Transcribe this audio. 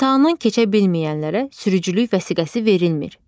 İmtahanı keçə bilməyənlərə sürücülük vəsiqəsi verilmir.